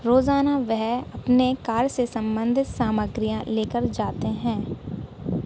रोजाना वह अपने कार से संबंध सामग्रियां लेकर जाते हैं।